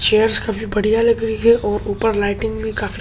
chairs काफी बढ़िया लगी रही हैं ऊपर लाइटिंग भी काफी --